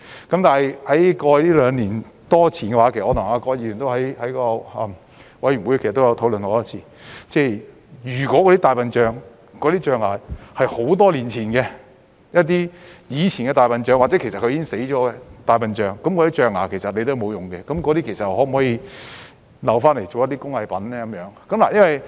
但是，在過去兩年多，我曾跟葛議員在委員會多次討論，如果象牙是多年前的，來自以前的大象或已死的大象，那些象牙其實沒有用，可否留下用來製作工藝品呢？